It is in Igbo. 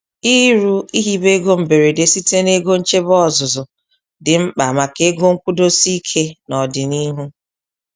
Ịrụ/ihibe ego mberede site n'ego nchebe ọzụzụ dị mkpa maka ego nkwụdosi ike n'odinịhụ.